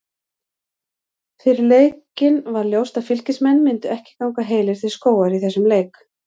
Fyrir leikinn var ljóst að Fylkismenn myndu ekki ganga heilir til skógar í þessum leik.